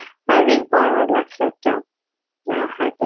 আর ring পরানোর লাগসে একটা অ্যাঁ heart এ